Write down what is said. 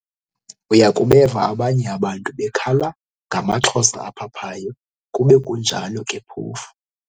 Uya kubeva abaye abantu bekhala ngamaXhosa aphaphayo, kube kunjalo ke phofu